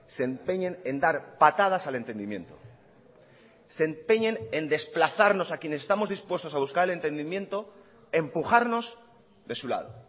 se empeñen en dar patadas al entendimiento se empeñen en desplazarnos a quienes estamos dispuestos a buscar el entendimiento empujarnos de su lado